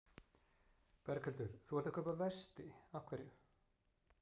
Berghildur: Þú ert að kaupa vesti, af hverju?